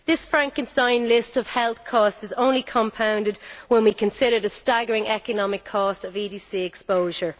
This Frankenstein list of health causes is only compounded when we consider the staggering economic cost of EDC exposure.